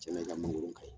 Cɛnna i ka mangoro kaɲi